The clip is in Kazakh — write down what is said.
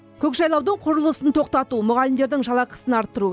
көкжайлаудың құрылысын тоқтату мұғалімдердің жалақысын арттыру